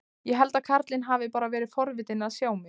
Ég held að karlinn hafi bara verið forvitinn að sjá mig.